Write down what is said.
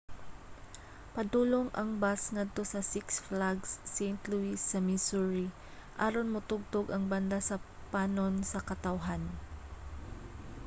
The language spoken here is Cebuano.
padulong ang bus ngadto sa six flags st. louis sa missouri aron motugtog ang banda sa panon sa katawhan